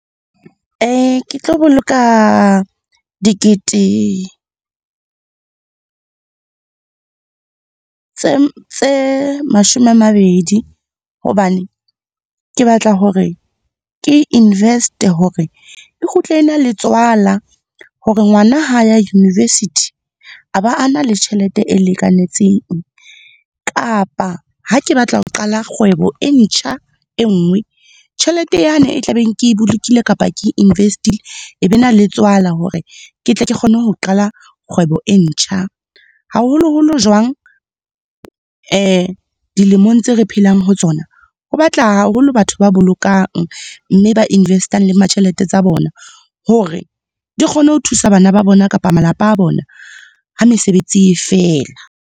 Ke tlo boloka dikete, tse mashome a mabedi. Hobane ke batla hore ke invest-e hore e kgutle e na le tswala, hore ngwana ha ya university a ba a na le tjhelete e lekanetseng. Kapa ha ke batla ho qala kgwebo e ntjha, e nngwe, tjhelete yane e tla beng ke bolokile kapa invest-ile e be na le tswala hore, ke tle ke kgone ho qala kgwebo e ntjha. Haholo-holo jwang, dilemong tse re phelang ho tsona, ho batla haholo batho ba bolokang mme ba invest-ang tjhelete tsa bona hore di kgone ho thusa bana ba bona kapa malapa a bona ha mesebetsi e fela.